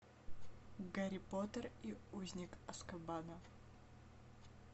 гарри поттер и узник азкабана